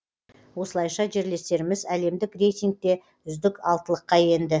осылайша жерлестеріміз әлемдік рейтингте үздік алтылыққа енді